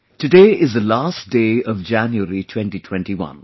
Today is the last day of January 2021